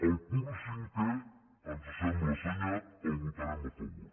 el punt cinquè ens sembla assenyat el votarem a favor